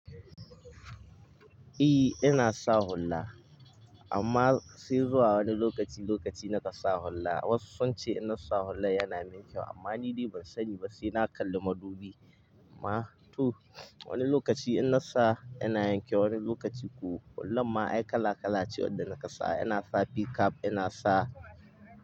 E, ina sa hulla. Amma sai zuwa wani lokaci lokaci na ka sa hulla. Wasu sun ce ina sa hulla yana min kyau amma ni dai ban sani ba sai na kalli madubi. Ma tu wani lokaci ina sa yana yin kyau, wani lokaci ku hullarma ai kala kala ce wadda na ka sa. Ina sa p-cap, ina sa.